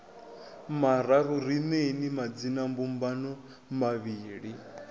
mararu ri neeni madzinambumbano mavhili